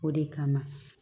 O de kama